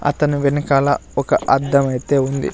అతను వెనకాల ఒక అద్ధం అయితే ఉంది.